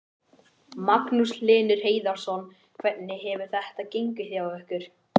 Magnús Hlynur Hreiðarsson: Hvernig hefur þetta gengið hjá ykkur?